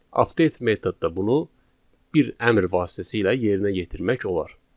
Update metodda bunu bir əmr vasitəsilə yerinə yetirmək olar.